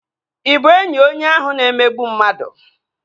Ị bụ enyi onye ahụ na-emegbu mmadụ?